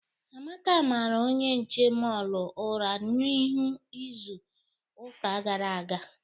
Amaka mara onye nche mọọlụ ụra n'ihu n'izu ụka gara aga.